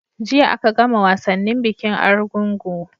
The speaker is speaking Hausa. Jiya a ka gama wasannin bikin argungu